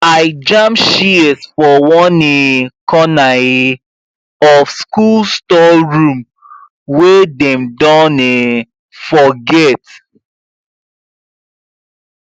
i jam shears for one um corner um of school storeroom wey dem don um forget